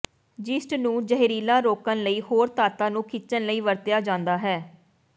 ਜ਼ੀਸਟ ਨੂੰ ਜ਼ਹਿਰੀਲਾ ਰੋਕਣ ਲਈ ਹੋਰ ਧਾਤਾਂ ਨੂੰ ਖਿੱਚਣ ਲਈ ਵਰਤਿਆ ਜਾਂਦਾ ਹੈ